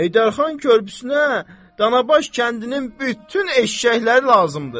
Heydərxan körpüsünə Danabaş kəndinin bütün eşşəkləri lazımdır.